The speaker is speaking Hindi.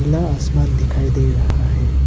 नीला आसमान दिखाई दे रहा है।